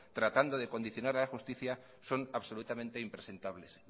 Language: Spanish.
tratando de condicionar a la justicia son absolutamente impresentables